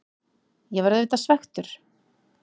Ég var auðvitað svekktur.